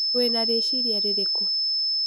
Wĩna rĩciria rĩrĩkũ?